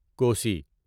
Kosi